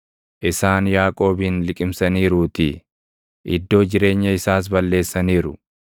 isaan Yaaqoobin liqimsaniiruutii; iddoo jireenya isaas balleessaniiru.